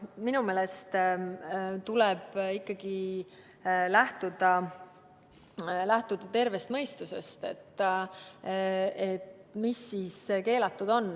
Minu meelest tuleb ikkagi lähtuda tervest mõistusest, et mis keelatud on.